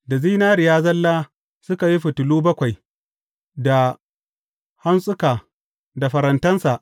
Da zinariya zalla suka yi fitilu bakwai, da hantsuka da farantansa.